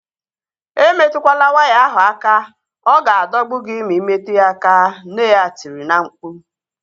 Emetukwala waya ahu aka! Ọ ga-adọgbu gị ma imetụ ya aka, nne ya tiri na-mkpu